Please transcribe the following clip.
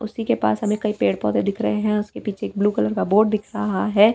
उसी के पास हमें कई पेड़ पौधे दिख रहे हैं उसके पीछे एक ब्लू कलर का बोर्ड दिख रहा है।